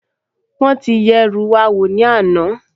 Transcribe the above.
Wọ́n ti yẹ ẹrú wa wò ní àná